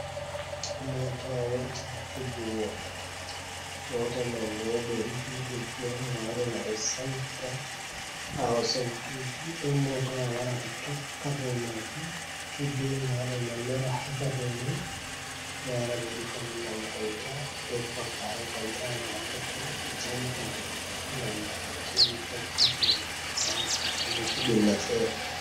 Motawa wo’ti hibbowol mota man bo be rufi leddi on ga warigado sankita, bawo sangutugi don motawa warata tokka do majum hidenga do mal lora hefa do man be wara be rufa ndiyam kolta be rufa kaye kolta man hatotton be tankawol gam ba a tedi tokka do man hautaj hebuki bella fere.